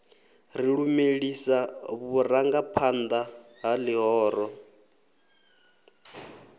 ri lumelisa vhurangaphanḓa ha ḽihoro